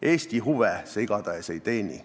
Eesti huve see igatahes ei teeni.